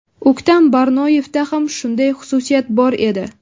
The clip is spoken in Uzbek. O‘ktam Barnoyevda ham shunday xususiyat bor edi.